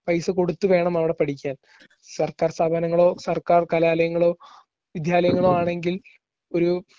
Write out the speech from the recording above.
പൈസ കൊടുത്തു വേണം അവിടെ പഠിക്കാൻ. സർക്കാർ സ്ഥാപനങ്ങളോ സർക്കാർ കലാലയങ്ങളോ വിദ്യാലയങ്ങളോ ആണെങ്കിൽ ഒരു